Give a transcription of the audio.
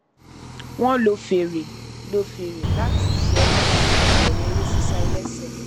wọn lo fèrè lo fèrè láti ṣẹwọ sí ìbẹrẹ eré sísá ẹlẹsẹ